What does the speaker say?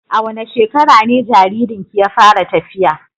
A wane shekara ne jaririnki ya fara tafiya?